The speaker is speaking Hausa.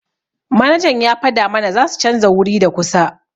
Manajan ya fada mana zasu chanza wuri da kusa.